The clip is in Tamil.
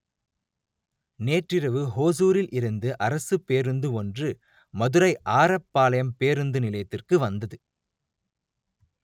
நேற்றிரவு ஓசூரில் இருந்து அரசுப் பேருந்து ஒன்று மதுரை ஆரப்பாளையம் பேருந்து நிலையத்திற்கு வந்தது